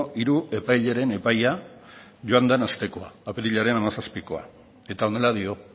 hiru epaileren epaia joan den astekoa apirilaren hamazazpikoa eta honela dio